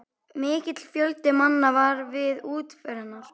Mikill fjöldi manna var við útför hennar.